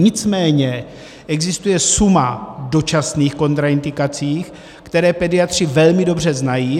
Nicméně existuje suma dočasných kontraindikací, které pediatři velmi dobře znají.